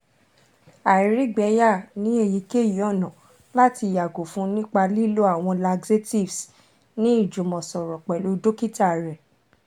àìrígbẹyà ni eyikeyi ọna lati yago fun nipa lilo awọn laxatives ni ijumọsọrọ pẹlu dokita rẹ